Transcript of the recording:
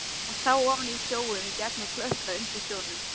Hún sá ofan í sjóinn og gegnum klöppina undir sjónum.